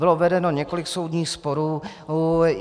Bylo vedeno několik soudních sporů.